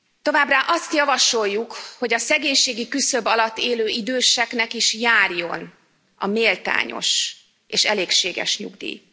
Továbbá azt javasoljuk, hogy a szegénységi küszöb alatt élő időseknek is járjon a méltányos és elégséges nyugdíj.